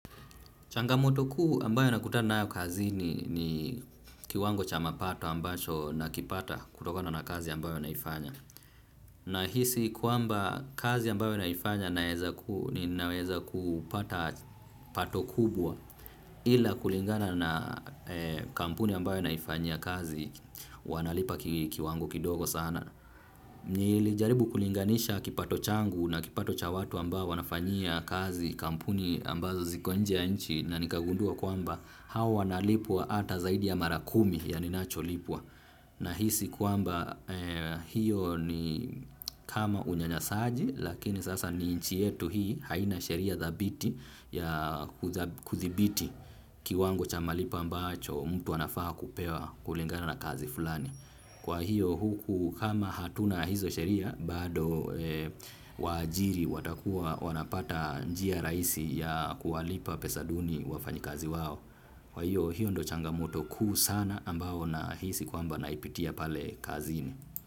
Changamoto kuu ambayo nakutana nayo kazini kiwango cha mapato ambacho na kipata kutokona na kazi ambayo naifanya. Nahisi kwamba kazi ambayo naifanya naweza kupata pato kubwa ila kulingana na kampuni ambayo naifanya kazi wanalipa kiwango kidogo sana. Na nilijaribu kulinganisha kipato changu na kipato cha watu amba wanafanyia kazi kampuni ambazo zikuwa nje ya nchi na nikagundua kuamba hawa na lipwa ata zaidi ya mara kumi ya ninacholipwa. Nahisi kwamba hiyo ni kama unyanyasaji lakini sasa ni nchi yetu hii haina sheria thabiti ya kuthibiti kiwango cha malipo ambacho mtu anafaa kupewa kulingana na kazi fulani. Kwa hiyo huku kama hatuna hizo sheria bado waajiri watakuwa wanapata njia raisi ya kuwalipa pesa duni wafanyikazi wao. Kwa hiyo hiyo ndio changamoto kuu sana ambayo nahisi kwamba naipitia pale kazini.